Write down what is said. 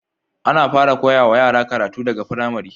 Ana fara koya wa yara karatu daga pramari